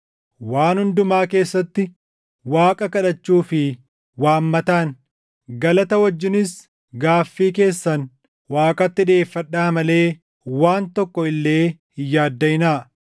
Waan hundumaa keessatti Waaqa kadhachuu fi waammataan, galata wajjinis gaaffii keessan Waaqatti dhiʼeeffadhaa malee waan tokko illee hin yaaddaʼinaa.